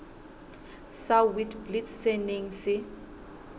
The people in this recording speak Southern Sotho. sa witblits se neng se